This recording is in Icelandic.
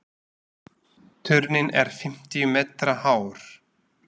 Turninn er fimmtíu metra hár.